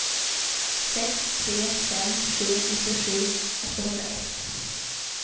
sex tre fem sju nittiosju åttahundraett